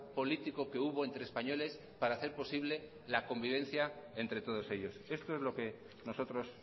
político que hubo entre españoles para hacer posible la convivencia entre todos ellos esto es lo que nosotros